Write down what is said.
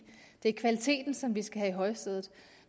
det er kvaliteten som vi skal have i højsædet